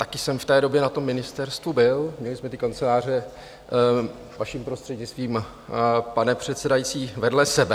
Také jsem v té době na tom ministerstvu byl, měli jsme ty kanceláře, vaším prostřednictvím, pane předsedající, vedle sebe.